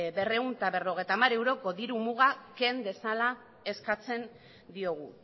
berrehun eta berrogeita hamar euroko diru muga ken dezala eskatzen diogu